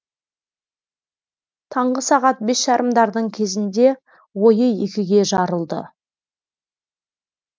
таңғы сағат бес жарымдардың кезінде ойы екіге жарылды